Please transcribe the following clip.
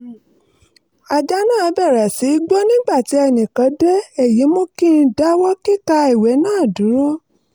ajá náà bẹ̀rẹ̀ sí í gbó nígbà tí ẹnì kan dé èyí mú kí n dáwọ́ kíka ìwé náà dúró